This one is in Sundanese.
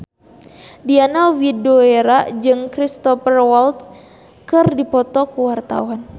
Diana Widoera jeung Cristhoper Waltz keur dipoto ku wartawan